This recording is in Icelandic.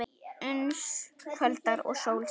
Uns kvöldar og sól sest.